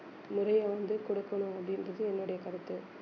முறையை வந்து கொடுக்கணும் அப்படின்றது என்னுடைய கருத்து